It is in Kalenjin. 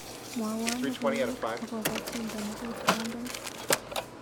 Kona logoiwek akobotyendo neketrompen.